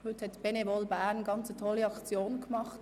Heute hat Benevol Bern eine ganz tolle Aktion durchgeführt.